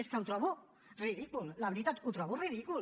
és que ho trobo ridícul la veritat ho trobo ridícul